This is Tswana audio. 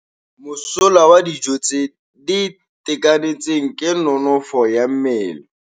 Mosola wa dijô tse di itekanetseng ke nonôfô ya mmele.